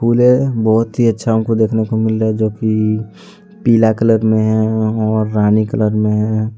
फुले बहुत ही अच्छा हमको देखने को मिल रहे है जोकि पीला कलर मे है और रानी कलर मे है।